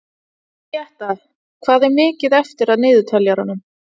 Júlíetta, hvað er mikið eftir af niðurteljaranum?